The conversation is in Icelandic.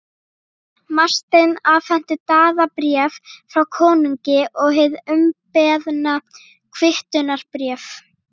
Marteinn afhenti Daða bréf frá konungi og hið umbeðna kvittunarbréf.